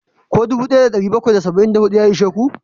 Ko dubu daya da dari bakwai da saba'in da hudu ya ishe ku?